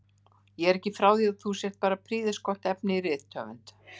Ég er ekki frá því að þú sért bara prýðisgott efni í rithöfund!